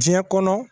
Diɲɛ kɔnɔ